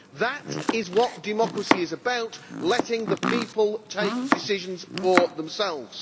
That is what democracy is about, letting the people take decisions for themselves.